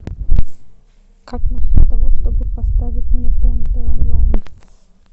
как насчет того чтобы поставить мне тнт онлайн